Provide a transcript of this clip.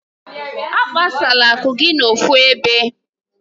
Akpasala akụ gị n'ofu ebe.